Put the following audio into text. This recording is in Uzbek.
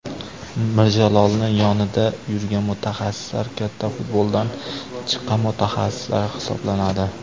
Mirjalolni yonida yurgan mutaxassislar katta futboldan chiqqan mutaxassislar hisoblanadi.